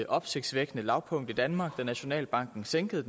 opsigtsvækkende lavpunkt i danmark da nationalbanken sænkede